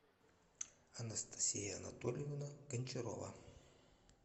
анастасия анатольевна гончарова